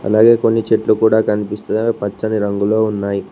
అలాగే కొన్ని చెట్లు కూడ కనిపిస్తున్నాయి అవి పచ్చని రంగులో ఉన్నాయి.